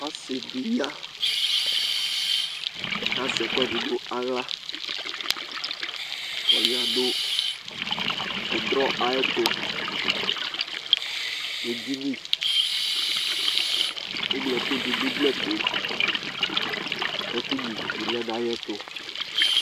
Ɔsidi ya kazɛ ɛkuɛdi nawla Ɔya nu ɛdro ayɛtu nedini Eglo ɛku dunu igli ɛtu ɛku nyua ivi bi lɛ nayɛtu